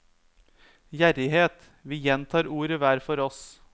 Gjerrighet, vi gjentar ordet hver for oss.